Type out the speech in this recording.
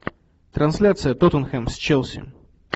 трансляция тоттенхэм с челси